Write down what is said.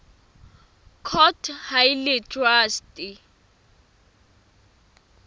court ha e le traste